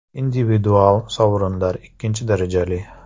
Individual sovrinlar ikkinchi darajali.